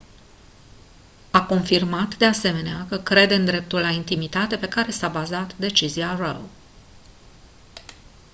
a confirmat de asemenea că crede în dreptul la intimitate pe care s-a bazat decizia roe